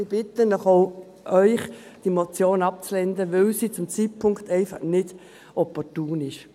Ich bitte auch Sie, die Motion abzulehnen, weil sie zu diesem Zeitpunkt einfach nicht opportun ist.